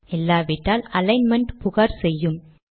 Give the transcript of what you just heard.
இல்லாவிட்டால் அலிக்ன்மென்ட் புகார் செய்யும்